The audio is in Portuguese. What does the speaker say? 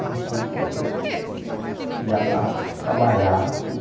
É um sítio que dá para trabalhar tudo.